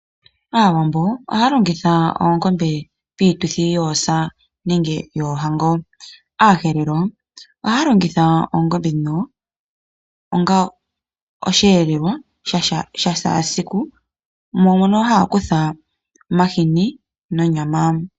Aawambo ohaa longitha oongombe piituthi yoosa nenge yoohango. Aaherero ohaa longitha oongombe onga osheelelwa shashaasiku, mo mono haa kutha omahini nonyama.